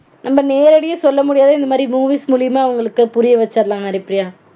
நம்ம நேரடியா சொல்ல முடியாதத இந்த மாதிரி movies மூலியமா அவங்களுக்கு புரிய வச்சிரலாம் ஹரிப்பிரியா